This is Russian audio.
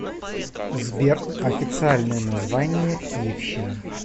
сбер официальное название киевщина